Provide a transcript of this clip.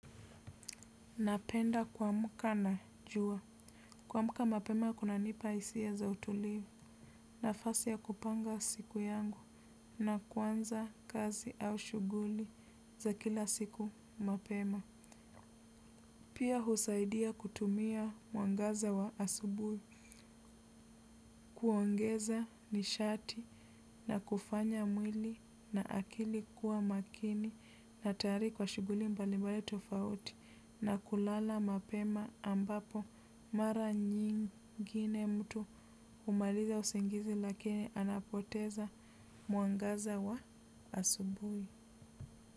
Napenda kuamka na jua. Kuamka mapema kunanipa hisia za utulivu nafasi ya kupanga siku yangu na kuanza kazi au shughuli za kila siku mapema. Pia husaidia kutumia mwangaza wa asubuhi kuongeza nishati na kufanya mwili na akili kuwa makini na tayari kwa shughuli mbalimbali tofauti na kulala mapema ambapo mara nyingine mtu humaliza usingizi lakini anapoteza mwangaza wa asubuhi.